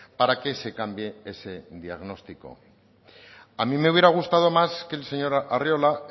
para que se cambie ese diagnóstico a mí me hubiera gustado más que el señor arriola